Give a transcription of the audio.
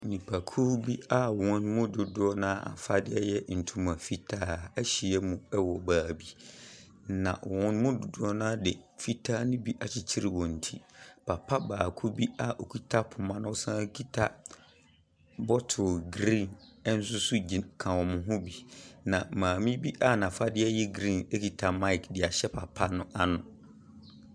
Nnipakuo bi a wɔn mu dodoɔ no ara afadeɛ yɛ ntoma fitaa ahyia mu wɔ beebi, na wɔn mu dodoɔ no ara de fitaa ne bi akyekyere wɔn ti. Papa baako bi a okita poma na ɔsan so kita bottle green nso gyin ka wɔn ho bi, na maame bi a n’afadeɛ yɛ green kita mic de ahyɛ papa no ano.